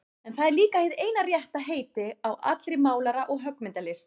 En það er líka hið eina rétta heiti á allri málara- og höggmyndalist.